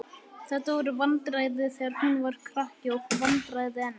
Þetta voru vandræði þegar hún var krakki og vandræði enn.